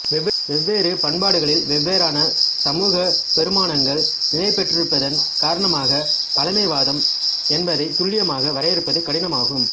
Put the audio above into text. வெவ்வேறு பண்பாடுகளில் வெவ்வேறான சமூகப் பெறுமானங்கள் நிலைபெற்றிருப்பதன் காரணமாகப் பழைமைவாதம் என்பதைத் துல்லியமாக வரையறுப்பது கடினமாகும்